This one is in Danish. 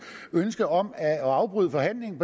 ønske om at afbryde forhandlingen